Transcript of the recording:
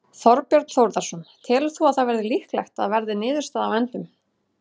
Þorbjörn Þórðarson: Telur þú að það verði líklegt að verði niðurstaðan á endanum?